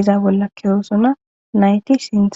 iza bolla keyosona nayti sintha